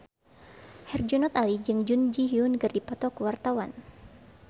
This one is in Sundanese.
Herjunot Ali jeung Jun Ji Hyun keur dipoto ku wartawan